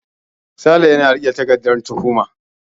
Sale yana riƙe da takardan tuhuma.